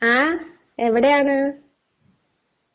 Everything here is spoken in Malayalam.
ങാ .. എവിടെയാണ്?